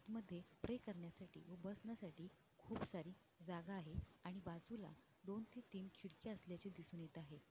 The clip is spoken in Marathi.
मध्ये प्रे करण्यासाठी व बसण्यासाठी खुप सारी जागा आहे आणि बाजूला दोन ते तीन किडक्या असल्याचे दिसून येत आहे.